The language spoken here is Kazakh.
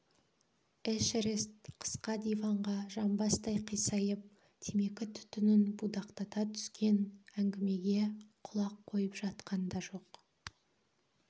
эшерест қысқа диванға жамбастай қисайып темекі түтінін будақтата түскен әңгімеге құлақ қойып жатқан да жоқ